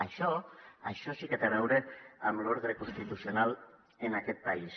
això això sí que té a veure amb l’ordre constitucional en aquest país